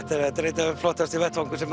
þetta er einn flottasti vettvangur sem